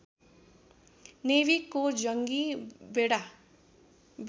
नेवीको जङ्गी बेडा